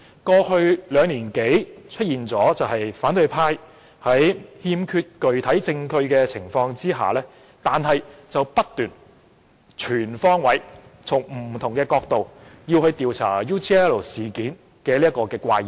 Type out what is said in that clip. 過去兩年多，反對派在欠缺具體證據的情況下，仍不斷全方位從不同角度調查 UGL 事件。